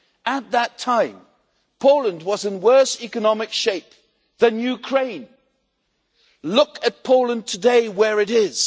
At that time, Poland was in worse economic shape than Ukraine. Look at Poland today where it is.